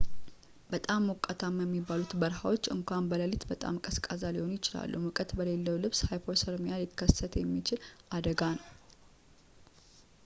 በጣም ሞቃታማ የሚባሉት በረሃዎች እንኳን በሌሊት በጣም ቀዝቃዛ ሊሆኑ ይችላሉ ሙቀት በሌሌው ልብስ ሃይፖሰርሚያ ሊከሰት የሚችል አደጋ ነው